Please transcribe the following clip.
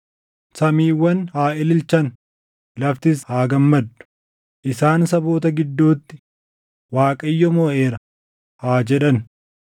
Samiiwwan haa ililchan; laftis haa gammaddu; isaan saboota gidduutti, “ Waaqayyo moʼeera!” haa jedhan.